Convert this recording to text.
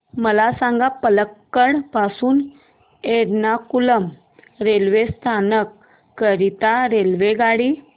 मला सांग पलक्कड पासून एर्नाकुलम रेल्वे स्थानक करीता रेल्वेगाडी